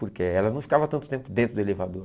Porque elas não ficavam tanto tempo dentro do elevador.